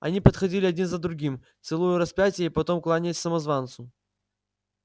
они подходили один за другим целуя распятие и потом кланяясь самозванцу